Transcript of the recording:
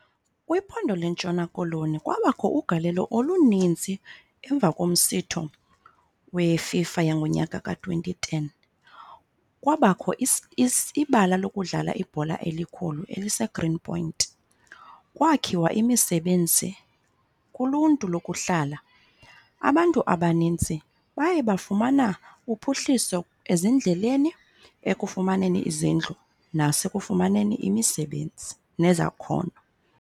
Kwiphondo lentshona koloni kwabakho ugalelo oluninzi emva komsitho weFIFA yangonyaka ka-twenty ten. Kwabakho ibala lokudlala ibhola elikhulu eliseGreen Point. Kwakhiwa imisebenzi kuluntu lokuhlala. Abantu abanintsi baye bafumana uphuhliso ezindleleni, ekufumaneni izindlu, nasekufumaneni imisebenzi nezakhono.